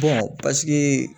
paseke